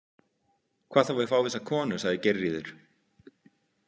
Hvað þá við fávísa konu, sagði Geirríður.